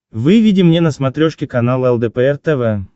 выведи мне на смотрешке канал лдпр тв